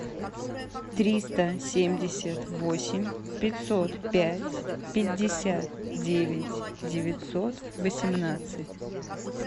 триста семьдесят восемь пятьсот пять пятьдесят девять девятьсот восемнадцать